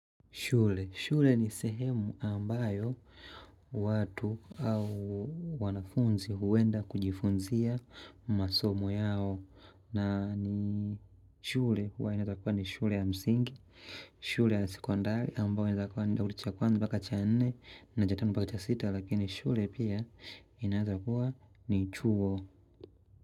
Shule, shule ni sehemu ambayo watu au wanafunzi huenda kujifunzia masomo yao na ni shule huwa inaeza kuwa ni shule ya msingi, shule ya sekondari ambayo inaweza kuwa ni kidato cha kwanza mpaka cha nne, na cha tano mpaka cha sita lakini shule pia inaeza kuwa ni chuo.